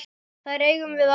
Þær eigum við alltaf.